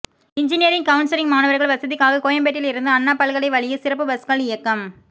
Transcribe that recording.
engineering counselling மாணவர்கள் வசதிக்காக கோயம்பேட்டில் இருந்து அண்ணா பல்கலை வழியே சிறப்பு பஸ்கள் இயக்கம்